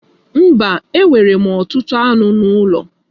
Mba, e nwere m ọtụtụ anụ ụlọ.